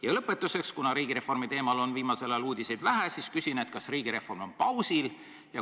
Ja lõpetuseks, kuna riigireformi teemal on viimasel ajal uudiseid vähe, siis küsin, kas riigireform on pausil.